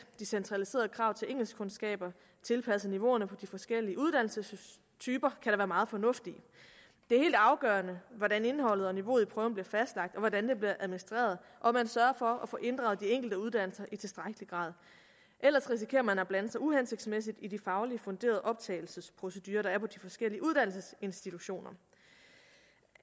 de centraliserede krav til engelskkundskaber tilpasset niveauerne på de forskellige uddannelsestyper kan da være meget fornuftigt det er helt afgørende hvordan indholdet og niveauet i prøven bliver fastlagt hvordan det bliver administreret og om man sørger for at få inddraget de enkelte uddannelser i tilstrækkelig grad ellers risikerer man at blande sig uhensigtsmæssigt i de fagligt funderede optagelsesprocedurer der er på de forskellige uddannelsesinstitutioner